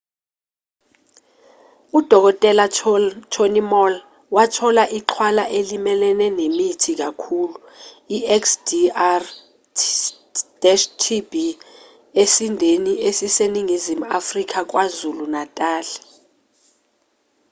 udkt. tony moll wathola ixhwala elimelene nemithi kakhulu ixdr-tb esindeni esiseningizimu afrika kwazulu-natal